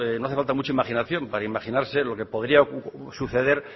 no hace falta mucha imaginación para imaginarse lo que podría suceder